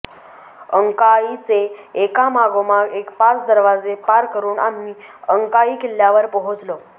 अंकाईचे एका मागोमाग एक पाच दरवाजे पार करून आम्ही अंकाई किल्ल्यावर पोहोचलो